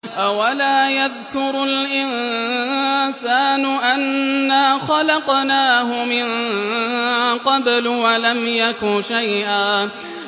أَوَلَا يَذْكُرُ الْإِنسَانُ أَنَّا خَلَقْنَاهُ مِن قَبْلُ وَلَمْ يَكُ شَيْئًا